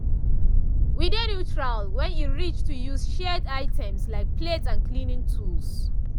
we dey neutral when e reach to use shared items like plates and cleaning tools.